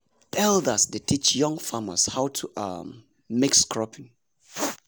elders dey teach young farmers about um mixed cropping.